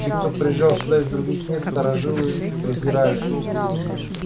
тех кто приезжал сюда из других мест старожилы презирали